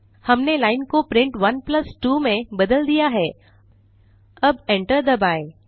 हमने लाइन को प्रिंट 12 में बदल दिया है अब एंटर दबाएँ